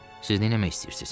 Siz neyləmək istəyirsiz?